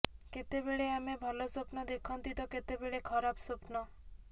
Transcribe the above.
କେତେବେଳେ ଆମେ ଭଲ ସ୍ୱପ୍ନ ଦେଖନ୍ତି ତ କେତେବେଳେ ଖରାପ ସ୍ୱପ୍ନ